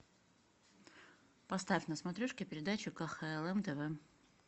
поставь на смотрешке передачу кхлм тв